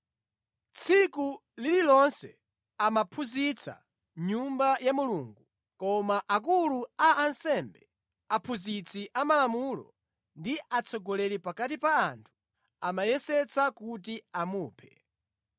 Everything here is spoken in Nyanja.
Tsiku lililonse amaphunzitsa mʼNyumba ya Mulungu. Koma akulu a ansembe, aphunzitsi amalamulo ndi atsogoleri pakati pa anthu amayesetsa kuti amuphe.